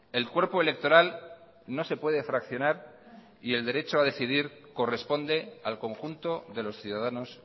el cuerpo electoral no se puede fraccionar y el derecho a decidir corresponde al conjunto de los ciudadanos